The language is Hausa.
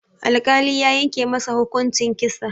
Alkali ya yanke masa hukuncin kisa.